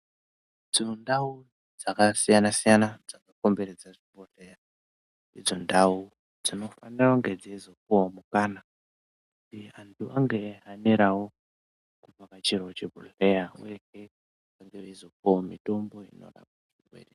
Dzimwe ndau dzakasiyanasiyana dzakakomberadza zvibhehleya ndidzo ndauu dzinofanira kunge dzeizopuwawo mukana kuti anhu ange eizohanirawo kuvhakachirawo chibhehleya uyehe veizopuwawo mitombo inoadetsera.